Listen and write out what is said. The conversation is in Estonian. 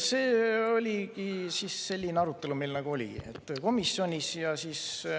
See oligi see arutelu meil komisjonis.